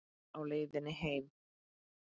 Á leiðinni heim?